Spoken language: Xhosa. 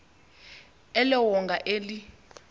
elo wonga eli